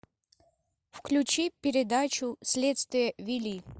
включи передачу следствие вели